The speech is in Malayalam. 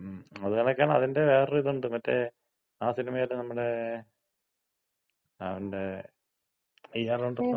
മ്മ്. അത് കണക്കാണ്, അതിന്‍റെ വേറെ ഒര് ഇതൊണ്ട് മറ്റേ ആ സിനിമയില് നമ്മുടെ അവന്‍റെ ഇയാളുണ്ടല്ലോ,